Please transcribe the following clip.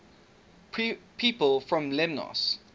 people from lemnos